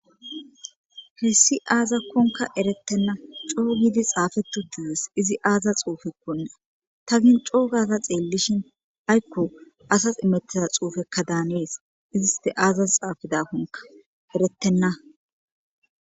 hessi aazakkonka erettenna coo giidi xaafetu tees izi aaza xuufekkonna ta gin coo gaza xeellishin aykko asas imettiza xuufekka daanees iziste aazas xaafidakonka eretenna